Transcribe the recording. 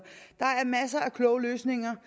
der er masser af kloge løsninger